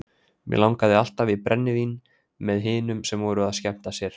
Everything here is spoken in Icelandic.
Mig langaði alltaf í brennivín með hinum sem voru að skemmta sér.